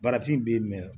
Barafin bɛ yen mɛ